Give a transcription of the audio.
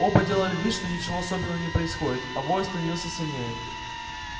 оба делали вид что ничего особенного не происходит а вой становился сильнее